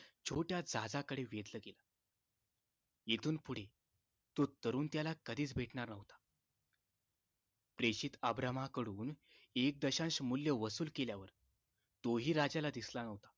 छोट्या जहाजाकडे वेधलं गेलं येतुन पुढे तो तरुण त्याला कधीच भेटणार न्हवता प्रेषित अब्रामा कडून एक दशांश मूल्य वसूल केल्यावर तो हि राजाला दिसला न्हवता